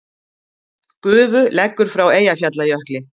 Gufu leggur frá Eyjafjallajökli